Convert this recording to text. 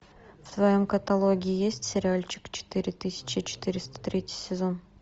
в твоем каталоге есть сериальчик четыре тысячи четыреста третий сезон